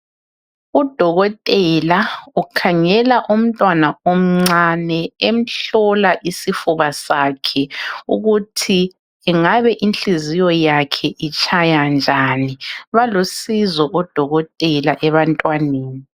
Udokotela ukhangela umntwana oncane, umhlola isifuba sakhe ukuthi ingabe inhliziyo yakhe itshaya njani. Balusizo odokotela ebantwaneni.